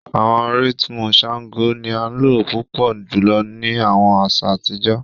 Awọn rhythmu Shango ni a lo pupọ julọ ni awọn aṣa atijọ.